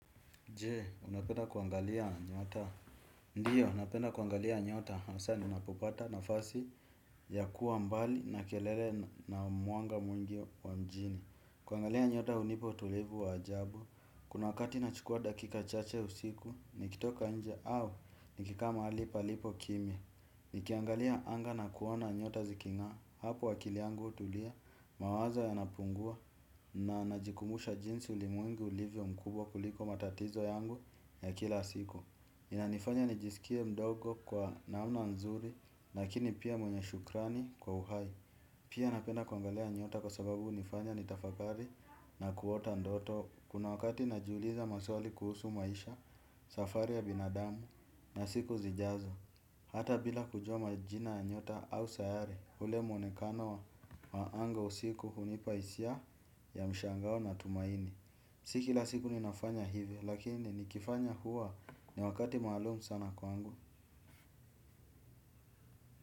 Je, unapenda kuangalia nyota? Ndiyo, napenda kuangalia nyota. Haswa, ninapopata nafasi ya kuwa mbali na kelele na mwanga mwingi wa mjini. Kuangalia nyota hunipa utulivu wa ajabu. Kuna wakati nachukua dakika chache usiku, nikitoka nje au nikikaa mahali palipo kimya. Nikiangalia anga na kuona nyota zikingaa hapo akili yangu hutulia, mawazo yanapungua. Na najikumbusha jinsi ulimwengu ulivyo mkubwa kuliko matatizo yangu ya kila siku. Inanifanya nijisikie mdogo kwa namna nzuri lakini pia mwenye shukrani kwa uhai. Pia napenda kuangalia nyota kwa sababu hunifanya nitafakari na kuota ndoto. Kuna wakati najiuliza maswali kuhusu maisha safari ya binadamu. Na siku zijazo hata bila kujua majina ya nyota au sayari ule mwonekano wa anga usiku hunipa hisia ya mshangao na tumaini. Si kila siku ninafanya hivi lakini nikifanya huwa ni wakati maalumu sana kwangu.